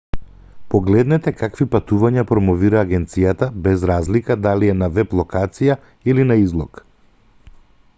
погледнете какви патувања промовира агенцијата без разлика дали е на веб-локација или на излог